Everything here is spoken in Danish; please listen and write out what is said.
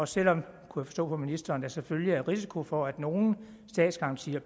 selv om jeg kunne forstå på ministeren at der selvfølgelig er risiko for at nogle af statsgarantierne